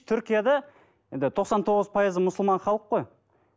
түркияда енді тоқсан тоғыз пайызы мұсылман халық қой